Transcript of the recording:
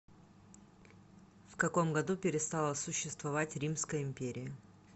в каком году перестала существовать римская империя